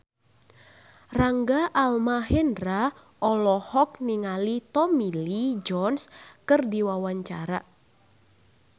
Rangga Almahendra olohok ningali Tommy Lee Jones keur diwawancara